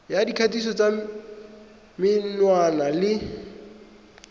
ya dikgatiso tsa menwana le